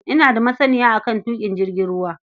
Ina da masaniya a kan tuƙin jirgin ruwa.